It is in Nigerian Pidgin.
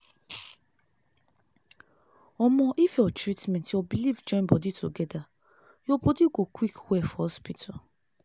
omo if your treatment ur beliefs join body together ur body go quick well for hospital.